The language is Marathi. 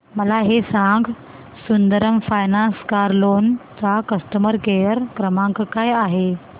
मला हे सांग सुंदरम फायनान्स कार लोन चा कस्टमर केअर क्रमांक काय आहे